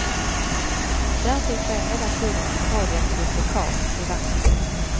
Därtill sker hela tiden ett radioaktivt läckage till vattnet.